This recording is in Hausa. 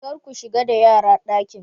Kar ku shiga da yara dakin!